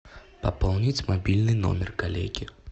пополнить мобильный номер коллеги